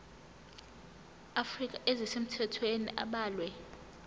afrika ezisemthethweni abalwe